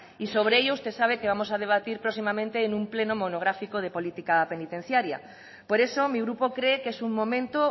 y sobre ello usted sabe que vamos a debatir próximamente en un pleno monográfico de política penitenciaria por eso mi grupo cree que es un momento